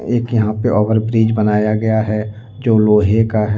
एक यहां पे ओवर ब्रिज बनाया गया है जो लोहे का है।